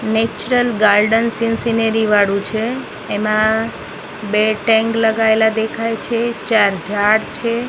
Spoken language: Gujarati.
નેચરલ ગાર્ડન સીન સિનેરી વાળુ છે એમા બે ટેંગ લગાઇલા દેખાય છે ચાર ઝાડ છે.